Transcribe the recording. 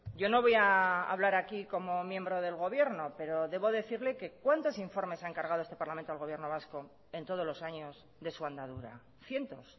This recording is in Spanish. yo no voy a hablar aquí como miembro del gobierno pero debo decirle que cuántos informes ha encargado este parlamento al gobierno vasco en todos los años de su andadura cientos